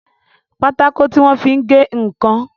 Pátákó tí wọ́n fi ń gé ǹkan